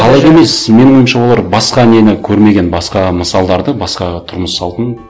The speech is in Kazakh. қалайды емес менің ойымша олар басқа нені көрмеген басқа мысалдарды басқа тұрмыс салтын